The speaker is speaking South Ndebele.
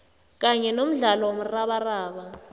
kanye nomdlalo womrabaraba